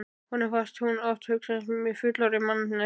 Honum fannst hún oft hugsa eins og fullorðin manneskja.